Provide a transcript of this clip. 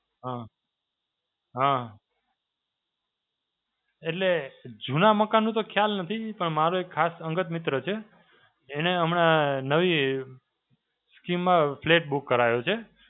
હાં. હાં. એટલે જૂના મકાનનું તો ખ્યાલ નથી પણ મારો એક ખાસ અંગત મિત્ર છે. એણે હમણાં નવી scheme માં flat book કરાયો છે.